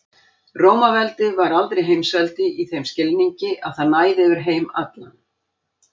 Rómaveldi var aldrei heimsveldi í þeim skilningi að það næði yfir heim allan.